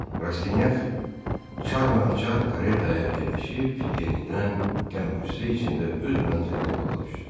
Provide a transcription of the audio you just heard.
Rastinyak çaqr-çaqr karetaya əyləşib yenidən qəm-qüssə içində öz mənzilinə yola düşdü.